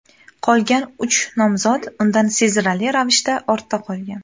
Qolgan uch nomzod undan sezilarli ravishda ortda qolgan.